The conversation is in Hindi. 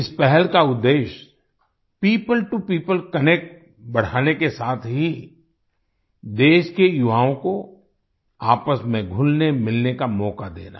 इस पहल का उद्देश्य पियोपल टो पियोपल कनेक्ट बढ़ाने के साथ ही देश के युवाओं को आपस में घुलनेमिलने का मौका देना